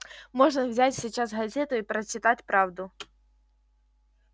можно взять сейчас газету и прочитать правду